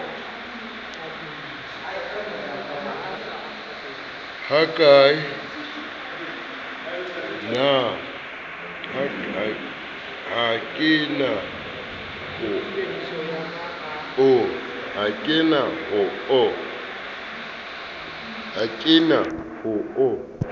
ha ke na ho o